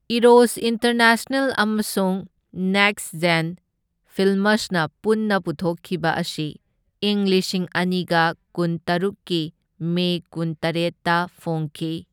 Eros international ꯑꯃꯁꯨꯡ next gen ꯐꯤꯜꯃꯁꯅ ꯄꯨꯟꯅ ꯄꯨꯊꯣꯛꯈꯤꯕ ꯑꯁꯤ ꯏꯪ ꯂꯤꯁꯤꯡ ꯑꯅꯤꯒ ꯀꯨꯟꯇꯔꯨꯛꯀꯤ ꯃꯦ ꯀꯨꯟꯇꯔꯦꯠꯇ ꯐꯣꯡꯈꯤ꯫